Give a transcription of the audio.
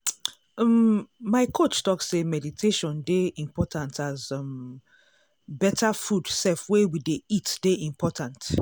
um my coach talk say meditation dey important as umbetter food sef wey we dey eat dey important.